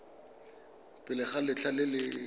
pele ga letlha le le